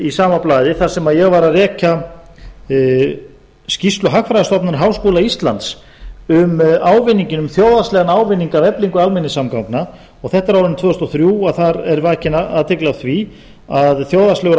í sama blaði þar sem ég var að rekja skýrslu hagfræðistofnunar háskóla íslands um ávinninginn um þjóðhagslegan ávinning af eflingu almenningssamgangna þetta er árið tvö þúsund og þrjú og þar er vakin athygli á því að þjóðhagslegur